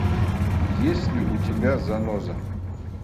есть ли у тебя заноза